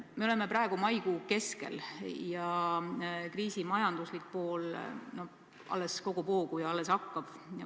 Me oleme praegu maikuu keskel ja kriisi majanduslik mõju alles kogub hoogu.